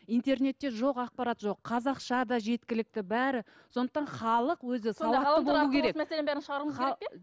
интернетте жоқ ақпарат жоқ қазақша да жеткілікті бәрі сондықтан халық өзі